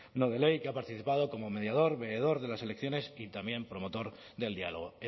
no de ley que ha participado como mediador de las elecciones y también promotor del diálogo